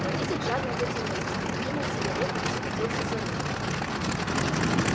водитель жадно затянулся откинул сигарету и схватился за руль